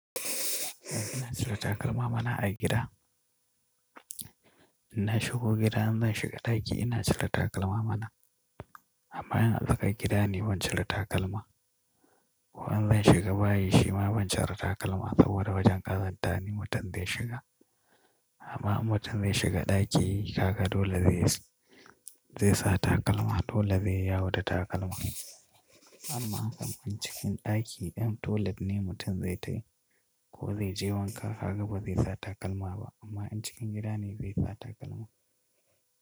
Ina cire takalma mana a gida. Idan na shigo gida in zan shiga ɗaki ina cire takalma mana. Amma in a tsakar gida ne ban cire takalma. Ko in zan shiga bayi shi ma ban cire takalma saboda wajen ƙazanta ne mutum zai shiga. Amma in mutum zai shiga ɗaki kaga dole zai sa takalma, dole zai yawo da takalma. Amma in cikin ɗaki ɗin dole ne mutum zai tafi ko zai je wanka, haka ba zai sa takalma ba. Amma in cikin gida ne zai sa takalma.